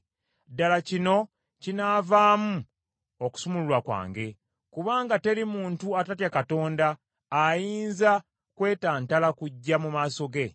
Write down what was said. Ddala kino kinaavaamu okusumululwa kwange, kubanga teri muntu atatya Katonda ayinza kwetantala kujja mu maaso ge!